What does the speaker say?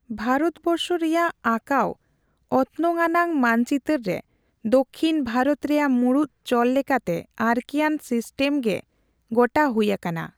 ᱵᱷᱟᱨᱚᱛᱵᱚᱨᱥᱚ ᱨᱮᱭᱟᱜ ᱟᱸᱠᱟᱣ ᱚᱛᱱᱚᱜᱟᱱᱟᱝ ᱢᱟᱱᱪᱤᱛᱟᱹᱨ ᱨᱮ ᱫᱚᱠᱠᱷᱤᱱ ᱵᱷᱟᱨᱚᱛ ᱨᱮᱭᱟᱜ ᱢᱩᱬᱩᱫ ᱪᱚᱞ ᱞᱮᱠᱟᱛᱮ ᱟᱨᱠᱤᱭᱟᱱ ᱥᱤᱥᱴᱮᱢᱜᱮ ᱜᱚᱴᱟ ᱦᱩᱭ ᱟᱠᱟᱱᱟ ᱾